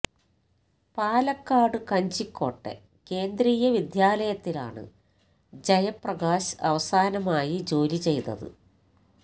പാലക്കാട് കഞ്ചിക്കോട്ടെ കേന്ദ്രീയ വിദ്യാലയത്തിലാണ് ജയപ്രകാശ് അവസാനമായി ജോലി ചെയ്തത്